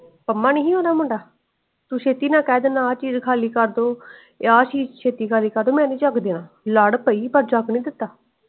ਪੰਮਾ ਨੀ ਸੀ ਓਹਦਾ ਮੁੰਡਾ ਤੂੰ ਸ਼ੇਤੀ ਨਾ ਕਰ ਦੇਂਦੇ ਆ ਚੀਜ ਖਾਲੀ ਕਰਦੋ ਤੇ ਆ ਚੀਜ ਛੇਤੀ ਖਾਲੀ ਕਰਦੋ ਮੈਨੀ ਜੱਗ ਦਯਾ ਲੱਦ ਪਯੀਏ ਪਾਰ ਜੱਗ ਨੀ ਦਿੱਤਾ।